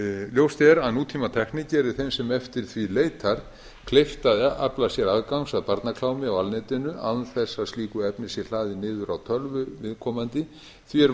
ljóst er að nútímatækni gerir þeim sem eftir því leitar kleift að afla sér aðgangs að barnaklámi á alnetinu án þess að slíku efni sé hlaðið niður á tölvu viðkomandi því er